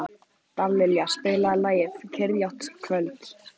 Dallilja, spilaðu lagið „Kyrrlátt kvöld“.